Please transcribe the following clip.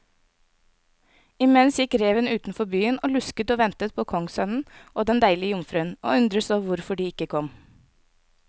Imens gikk reven utenfor byen og lusket og ventet på kongssønnen og den deilige jomfruen, og undredes på hvorfor de ikke kom.